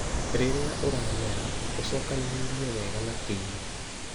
Rĩrĩa ũramera, ũcokanĩrĩrie wega na tĩĩri.